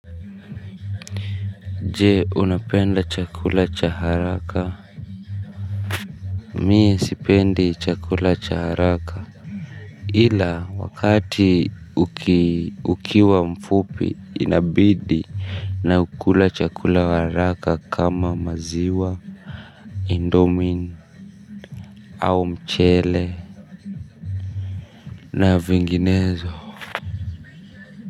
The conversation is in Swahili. Je unapenda chakula cha haraka mie sipendi chakula cha haraka ila wakati ukiwa mfupi inabidi naukula chakula wa haraka kama maziwa indomin au mchele na vinginezo.